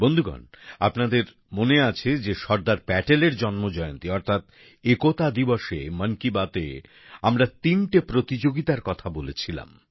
বন্ধুগণ আপনাদের মনে আছে যে সর্দার প্যাটেলের জন্মজয়ন্তী অর্থাৎ একতা দিবসে মন কি বাতে আমরা তিনটে প্রতিযোগিতার কথা বলেছিলাম